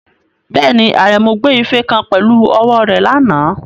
Bẹ́ẹ̀ni, Aremu gbé ife kan pẹ̀lú ọwọ́ rẹ̀ lánàá.